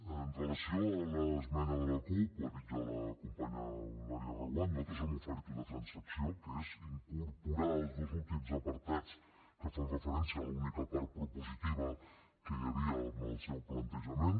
amb relació a l’esmena de la cup ho ha dit ja la companya eulàlia reguant nosaltres hem oferit una transacció que és incorporar els dos últims apartats que fan referència a l’única part propositiva que hi havia en el seu plantejament